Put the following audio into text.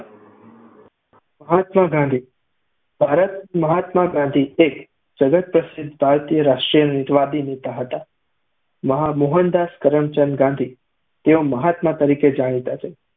માહમાં ગાંધી ભારત મહાત્માગાંધી તે જગત પ્રશિધ ભારતીય હિન્દ વાડી નેતા હતા. મહા મોહનદાસ કરમચંદ ગાંધી તેઓ મહાત્મા તરીકે જાણીતા છે